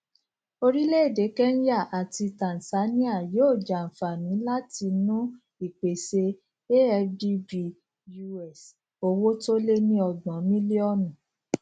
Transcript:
orílẹèdè kenya àti tanzania yóò jàǹfààní látinú ìpèsè afdb us owó tó lé ní ọgbòn mílíònù